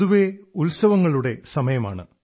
പൊതുവെ ഉത്സവങ്ങളുടെ സമയമാണ്